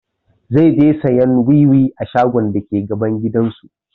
Zai je sayan wiwi a shagon dake gaban gidan su